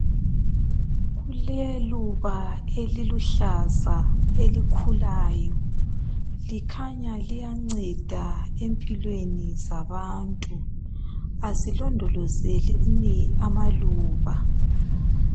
Kuleluba eliluhlaza elikhulayo, likhanya liyanceda empilweni zabantu, kasilondolozeni amaluba.